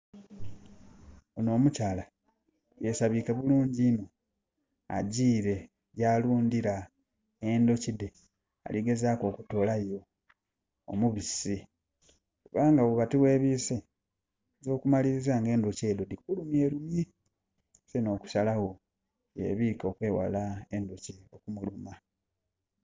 Ono omukyala yesabike bulungi innho, agiile ya lundhila endhuki dhe. Aligezaku okutolayo omubisi era nga bwoba tighe bwise endhuki oyinza okumaliliza nga endhuki edho dhi kulumye lumye so no kusalagho yebwike okweghala endhuki okumuluma.